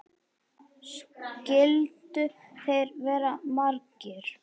Skyldu þeir vera margir?